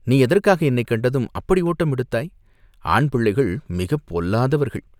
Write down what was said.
நீ எதற்காக என்னைக் கண்டதும் அப்படி ஓட்டம் எடுத்தாய்?" "ஆண் பிள்ளைகள் மிகப் பொல்லாதவர்கள்.